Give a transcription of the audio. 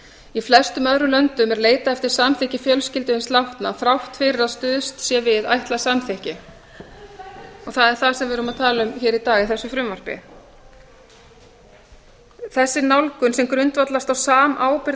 í flestum öðrum löndum er leitað eftir samþykki fjölskyldu hins látna þrátt fyrir að stuðst sé við ætlað samþykki og það sem við erum að tala um hér í dag í þessu frumvarpi þessi nálgun sem grundvallast á samábyrgð